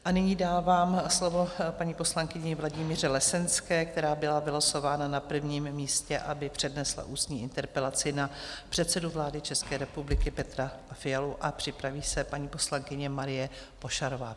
A nyní dávám slovo paní poslankyni Vladimíře Lesenské, která byla vylosována na prvním místě, aby přednesla ústní interpelaci na předsedu vlády České republiky Petra Fialu, a připraví se paní poslankyně Marie Pošarová.